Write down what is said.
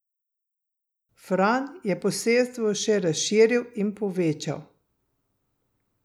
Fran je posestvo še razširil in povečal.